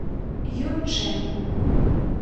юнчэн